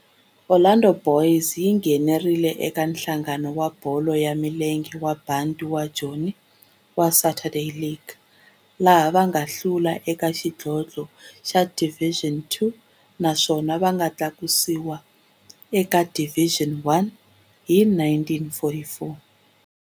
Orlando Boys yi nghenelerile eka Nhlangano wa Bolo ya Milenge wa Bantu wa Joni wa Saturday League, laha va nga hlula eka xidlodlo xa Division Two naswona va nga tlakusiwa eka Division One hi 1944.